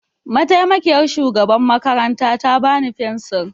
Mataimakiyar shugaban makaranta ta bani fensir.